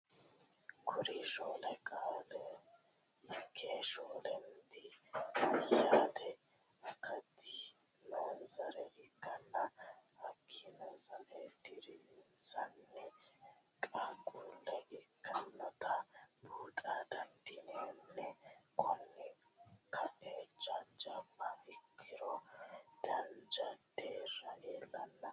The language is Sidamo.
Kuri shoole qaaqulle ikke shoolenti meyaate akkati noo'nsare ikkanna hakiino sae diri'nsanni qaaqule ikkinotta buuxxa dandinanni, koni ka'a jajaba ikkiro dancha derra iillano